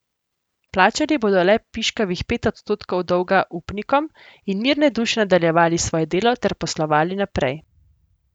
Plačali bodo le piškavih pet odstotkov dolga upnikom in mirne duše nadaljevali svoje delo ter poslovali naprej.